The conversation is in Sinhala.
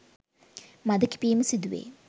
මද කිපීම සිදුවේ.